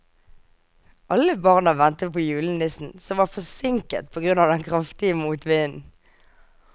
Alle barna ventet på julenissen, som var forsinket på grunn av den kraftige motvinden.